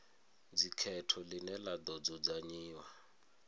dzikhetho ḽine ḽa ḓo dzudzanyiwa